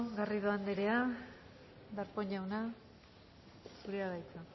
garrido anderea darpón jauna zurea da hitza